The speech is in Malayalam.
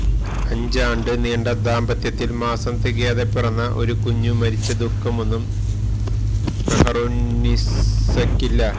അഞ്ച് ആണ്ട് നീണ്ട ദാമ്പത്യത്തില് മാസം തികയാതെ പിറന്ന ഒരു കുഞ്ഞു മരിച്ച ദുഃഖമൊന്നും മെഹറുന്നിസയ്ക്കില്ല